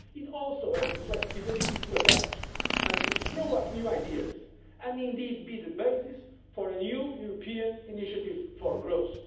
It also has the flexibility to adapt and throw up new ideas and, indeed, be the basis for a new European initiative for growth.